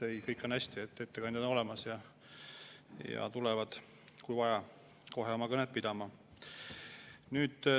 Ei, kõik on hästi, ettekandjad on olemas ja tulevad, kui vaja, kohe oma kõnet pidama.